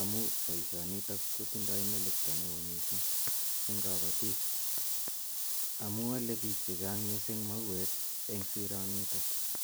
amu poishonitok kotindai melekta ne oo missing' eng' kapatik. Amu ale piik che chang' mauek eng' sironitok.